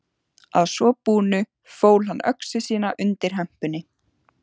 Að svo búnu fól hann öxi sína undir hempunni.